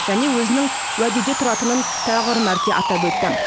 және өзінің уәдеде тұратынын тағы бір мәрте атап өтті